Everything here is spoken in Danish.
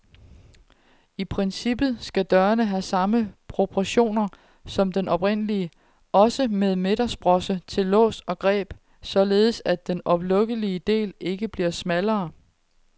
I princippet skal dørene have samme proportioner som den oprindelige, også med midtersprosse til lås og greb, således at den oplukkelige del ikke bliver smallere.